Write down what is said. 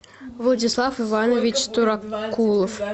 владислав иванович туракулов